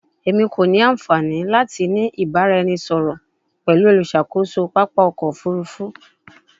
Emi ko ni anfani lati ni ibaraẹnisọrọ pẹlu oluṣakoso papa ọkọ ofurufu